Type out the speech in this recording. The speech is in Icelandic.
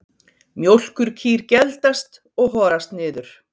Mjólkurkýr geldast og horast niður.